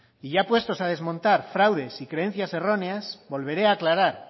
y ya puestos a desmontar fraudes y creencias erróneas volveré aclarar